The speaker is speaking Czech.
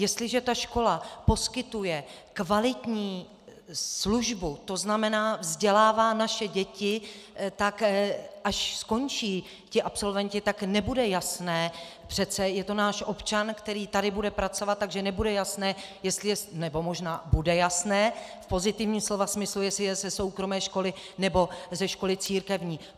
Jestliže ta škola poskytuje kvalitní službu, to znamená, vzdělává naše děti, tak až skončí ti absolventi, tak nebude jasné - přece je to náš občan, který tady bude pracovat, takže nebude jasné, nebo možná bude jasné v pozitivním slova smyslu, jestli je ze soukromé školy, nebo ze školy církevní.